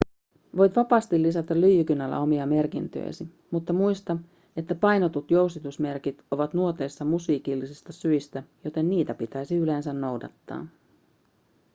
voit vapaasti lisätä lyijykynällä omia merkintöjäsi mutta muista että painetut jousitusmerkit ovat nuoteissa musiikillisista syistä joten niitä pitäisi yleensä noudattaa